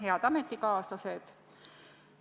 Head ametikaaslased!